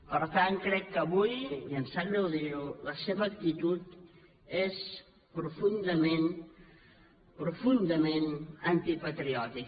per tant crec que avui i em sap greu dirho la seva actitud és profundament profundament antipatriòtica